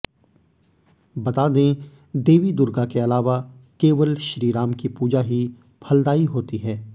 बता दें देवी दुर्गा के अलावा केवल श्रीराम की पूजा ही फलदायी होती है